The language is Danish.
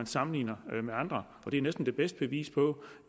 sammenligner med andre og det er næsten det bedste bevis på